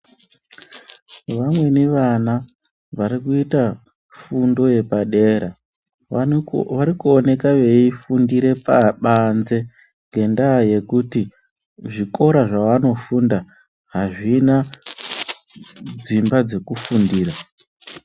Vamweni vana varikuita fundo yepadera varikuoneka veifundire pabanzi ngendaa yekuti zvikora zvevanofunda hazvina dzimba dzekufundira.